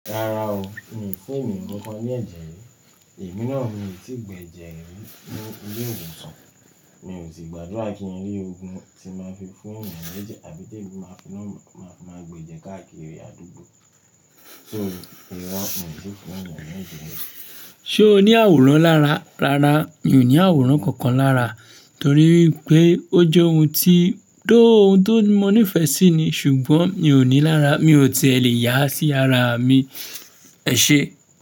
Rárá o, mi ò fun eniyan ńǹkan ní ẹ̀jẹ̀ rí, èmi náà mi ò tíì gbẹ jẹ́ rí ní ilé iwosan, mi ò sì gbàgbọ́ kí ẹ rí ogun tí máa fi fún eniyan lẹ́jẹ́ àbí tí èmi máa fi náà máa gbe jẹ́ káàkiri àdúgbò. Iro mi ti fún èniyan náà ní ẹ̀jẹ̀ rí. Ṣé o ní àwòrán lára? Rárá, mi ò ní àwòrán kankan lára torí pé ó jẹ́ ohun ti, ohun tó mọ ní ìfẹ́ sí ni ṣùgbọ́n mi ò ní lára, mi ò ti lè yà á sí ara mi, ẹṣe?